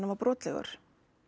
var brotlegur